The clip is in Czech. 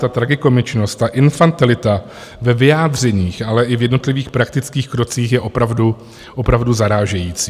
Ta tragikomičnost a infantilita ve vyjádřeních, ale i v jednotlivých praktických krocích je opravdu zarážející.